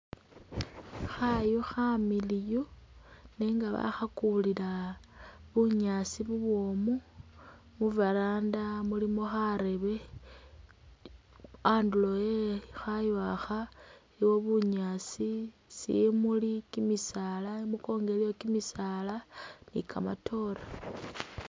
Khayu khamiliyu nenga bakhakulila bunyaasi bubwomu ,khu’veranda khulikho kharembe anduro we khayu’kha iliwo bunyaasi ,shimuli, kimisala imukongo iliyo kyimisala ni kamatoore.